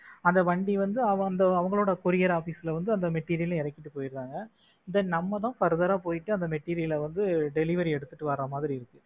அந்த வண்டி வந்து அவங்களோட courier office ல வந்து அந்த material அ இறக்கிட்டு போயிடறாங்க then நம்ம தான் further ஆ போயிட்டு அந்த material அ வந்து delivery எடுத்துட்டு மாதிரி இருக்கு